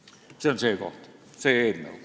Jüri Adams, teie kord, palun!